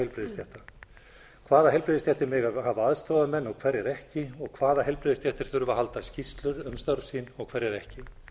heilbrigðisstéttar hvaða heilbrigðisstéttir mega hafa aðstoðarmenn og hverjar ekki og hvaða heilbrigðisstéttir þurfa að halda skýrslur um störf sín og hverjar ekki